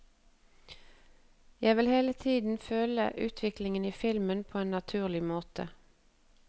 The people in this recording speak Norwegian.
Jeg vil hele tiden føle utviklingen i filmen på en naturlig måte.